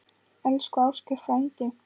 Elsku Ásgeir frændi.